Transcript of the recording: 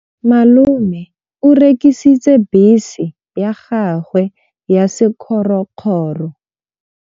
Malome o rekisitse bese ya gagwe ya sekgorokgoro.